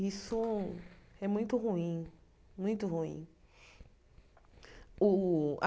Isso é muito ruim, muito ruim. O